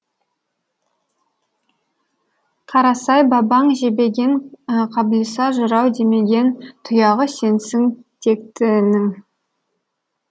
қарасай бабаң жебеген қаблиса жырау демеген тұяғы сенсің тектінің